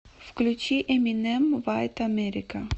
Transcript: включи эминем вайт америка